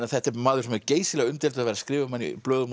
þetta er maður sem er geysilega umdeildur skrifað um hann í blöðum